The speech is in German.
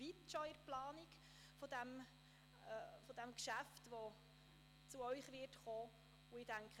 Mit der Planung dieses Geschäfts sind wir schon relativ weit fortgeschritten – es wird zu Ihnen kommen.